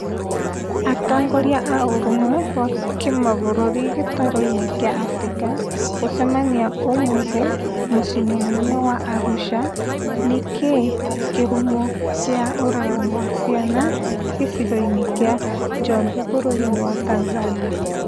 Atongoria a ũrũmwe wa kĩmabũrũri gĩtaro-inĩ kĩa Afrika gũcemania ũmũthi mũcĩĩ mũnene wa Arusha nikĩĩ kĩhumo kĩa ũragani wa ciana gĩcigo-inĩ kia Njombe bũrũri wa Tanzania